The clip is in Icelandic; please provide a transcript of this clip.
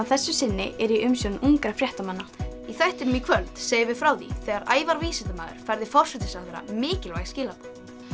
þessu sinni eru í umsjón ungra fréttamanna í þættinum í kvöld segjum við frá því þegar Ævar vísindamaður færði forsætisráðherra mikilvæg skilaboð